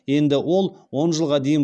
енді ол он жылға дейін